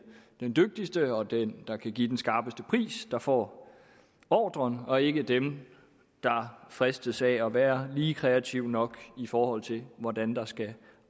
de dygtigste og dem der kan give den skarpeste pris der får ordren og ikke dem der fristes af at være lige kreative nok i forhold til hvordan der skal